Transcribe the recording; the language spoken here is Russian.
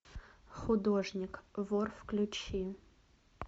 художник вор включи